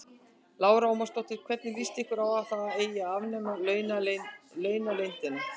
Lára Ómarsdóttir: Hvernig lýst ykkur á að það eigi að afnema launaleyndina?